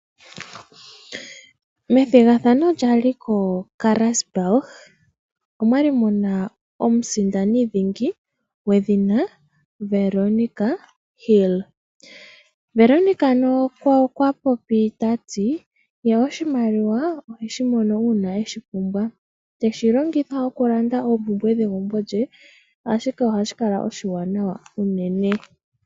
Methigathano lyali ko Karasburg omwa li muna omusindani dhingi gwedhina Veronica Hill. Veronica ano okwa popi tati ye oshimaliwa oheshi mono uuna eshi pumbwa. Teshi longitha okulanda oompumbwe dhegumbo lye ashike ohashi kala oshiwanawa unene.